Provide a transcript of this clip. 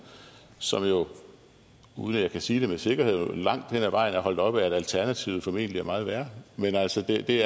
som uden at jeg kan sige det med sikkerhed langt hen ad vejen er holdt oppe af at alternativet formentlig er meget værre men altså det